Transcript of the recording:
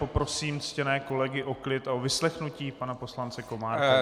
Poprosím ctěné kolegy o klid a o vyslechnutí pana poslance Komárka.